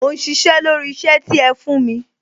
Mò ń sisẹ́ lórí isẹ ti ẹ fún mi